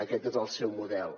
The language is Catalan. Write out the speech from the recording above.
aquest és el seu model